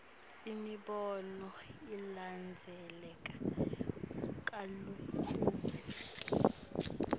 imibono ilandzeleka kalukhuni